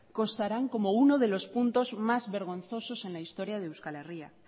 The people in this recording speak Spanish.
constarán como uno de los puntos más vergonzosos en la historia de euskal herria